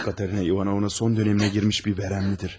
Katerina İvanovna son dövrünə girmiş bir vərəmlidir.